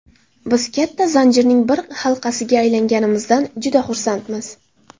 Biz katta zanjirning bir halqasiga aylanganimizdan juda xursandmiz”.